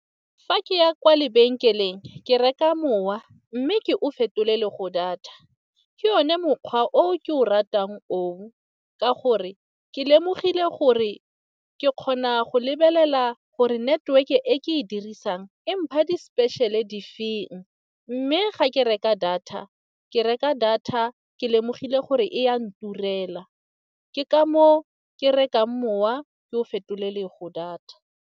Fa ke ya kwa lebenkeleng ke reka mowa mme ke o fetolelwe go data. Ke yone mokgwa o ke o ratang o, ka gore ke lemogile gore ke kgona go lebelela gore network-e e ke e dirisang empha di-special'e di feng. Mme ga ke reka data ke reka data ke lemogile gore e ya nturela. Ke ka moo ke reka mowa ke o fetolelwe go data.